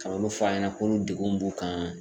Ka na olu fɔ a ɲɛna k'olu degun b'u kan.